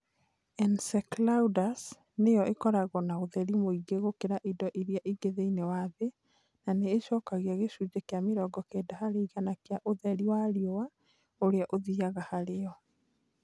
Enceladus nĩyo ĩkoragwo na ũtheri mũingĩ gũkĩra indo iria ingĩ thĩinĩ wa thĩ, na nĩ ĩcokagia gĩcunjĩ kĩa mĩrongo kenda harĩ igana kĩa ũtheri wa riũa ũrĩa ũthiaga harĩ yo.